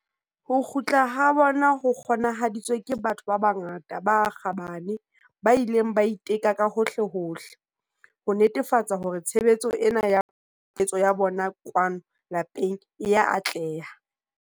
Ho kgutla ha bona ho kgona-haditswe ke batho ba bangata ba kgabane ba ileng ba itela ka hohlehohle, ho netefatsa hore tshebetso ena ya pusetso ya bona kwano lapeng e a atleha.